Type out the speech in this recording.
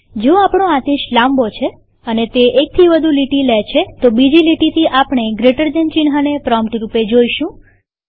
જો આપણો આદેશ લાંબો છે અને તે એકથી વધુ લીટી લે છે તો બીજી લીટીથી આપણે જીટી ચિહ્નને પ્રોમ્પ્ટ રૂપે જોઈશું